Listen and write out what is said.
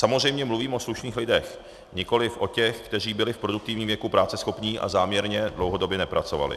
Samozřejmě mluvím o slušných lidech, nikoli o těch, kteří byli v produktivním věku práceschopní a záměrně dlouhodobě nepracovali.